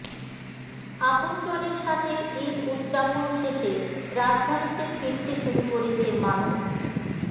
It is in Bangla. আপনজনের সাথে ঈদ উদযাপন শেষে রাজধানীতে ফিরতে শুরু করেছে মানুষ